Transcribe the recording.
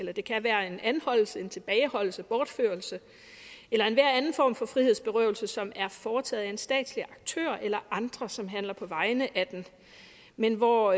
det kan være en anholdelse en tilbageholdelse en bortførelse eller enhver anden form for frihedsberøvelse som er foretaget af en statslig aktør eller andre som handler på vegne af den men hvor